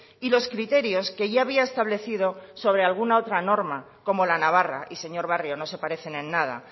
y los criterio que ya había establecido sobre alguna otra normal como la navarra y señor barrio no se parecen en nada